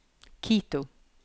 Quito